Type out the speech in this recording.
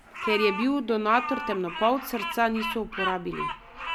Ker je bil donator temnopolt, srca niso uporabili.